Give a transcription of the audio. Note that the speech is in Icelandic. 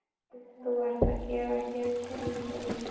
Þú ert að gera hér tilraunir?